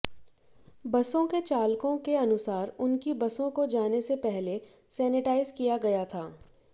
बसों के चालकों के अनुसार उनकी बसों को जाने से पहले सेनेटाइज किया गया था